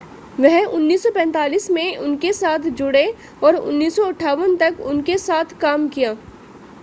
वह 1945 में उनके साथ जुड़े और 1958 तक उनके साथ काम किया